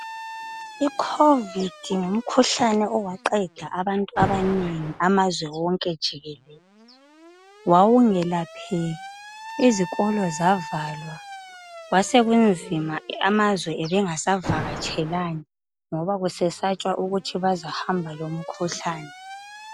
I covid ngumkhuhlane owaqeda abantu abanengi amazweni wonke jikelele izikolo zavalwa kwasekunzima amazwe ebengasavakatshelani ngoba kusesantshwa ukuthi bazahamba lomkhuhlane.